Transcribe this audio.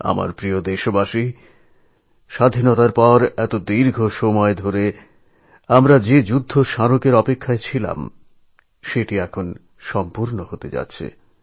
আমার প্রিয় দেশবাসী স্বাধীনতার এত দীর্ঘসময়ে আমাদের সকলের যে ওয়ার Memorialএর অপেক্ষা ছিল তা এখন সমাপ্ত হতে চলেছে